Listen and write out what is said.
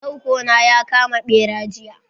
Tarko na ya kama bera jiya.